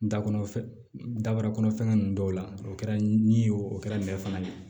Da kɔnɔ dabrakɔnɔ fɛngɛ ninnu dɔw la o kɛra ni ye o kɛra nɛgɛ fana ye